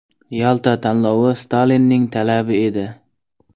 Yalta tanlovi Stalinning talabi edi.